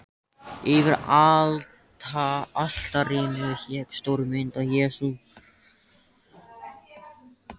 Yfir altarinu hékk stór mynd af Jesú.